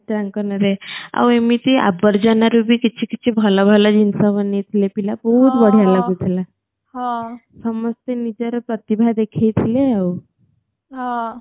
ଚିତ୍ରାଙ୍କନ ରେ ଆଉ ଏମିତି ଆବର୍ଜନା ରୁ ଭି କିଛି କିଛି ଭଲ ଭଲ ଜିନିସ ବନେଇଥିଲେ ପିଲା ବହୁତ ବଢ଼ିଆ ଲାଗୁ ଥିଲା ସମସ୍ତେ ନିଜର ପ୍ରତିଭା ଦେଖେଇ ଥିଲେ ଆଉ